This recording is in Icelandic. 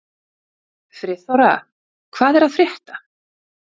Friðþóra, hvað er að frétta?